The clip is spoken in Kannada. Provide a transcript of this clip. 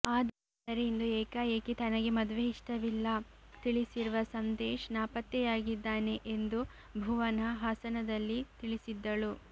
ಆದರೆ ಇಂದು ಏಕಾಏಕಿ ತನಗೆ ಮದುವೆ ಇಷ್ಟವಿಲ್ಲ ತಿಳಿಸಿರುವ ಸಂದೇಶ್ ನಾಪತ್ತೆಯಾಗಿದ್ದಾನೆ ಎಂದು ಭುವನ ಹಾಸನದಲ್ಲಿ ತಿಳಿಸಿದ್ದಳು